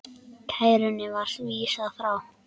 Kærunni var vísað frá.